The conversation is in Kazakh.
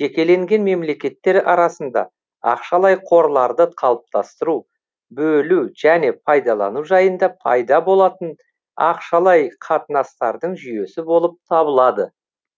жекелеген мемлекеттер арасында ақшалай қорларды қалыптастыру бөлу және пайдалану жайында пайда болатын ақшалай қатынастардың жүйесі болып табылады